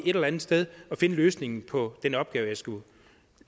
et eller andet sted og finde løsningen på den opgave jeg skulle